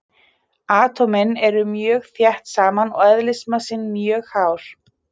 Atómin eru mjög þétt saman og eðlismassinn mjög hár.